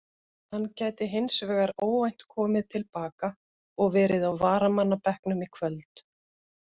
Hann gæti hins vegar óvænt komið til baka og verið á varamannabekknum í kvöld.